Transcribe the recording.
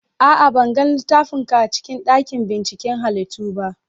A'a, ban ga littafin ka a cikin dakin binciken halittu ba.